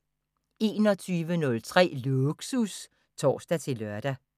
21:03: Lågsus (tor-lør)